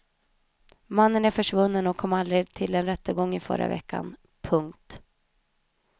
Mannen är försvunnen och kom aldrig till en rättegång i förra veckan. punkt